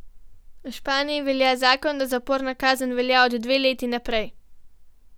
V Španiji velja zakon, da zaporna kazen velja od dve leti naprej.